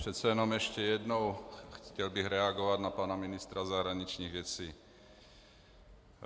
Přece jenom ještě jednou, chtěl bych reagovat na pana ministra zahraničních věcí.